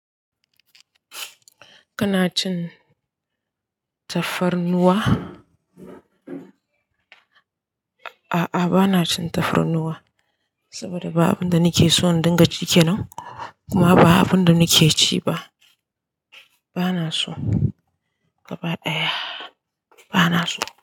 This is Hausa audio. Kana cin tafarnuwa? A'a, bana cin tafarnuwa saboda ba abun da nake so in dinga cike nau, kuma ba abun da nake ci ba. Bana so gaba ɗaya. Bana so.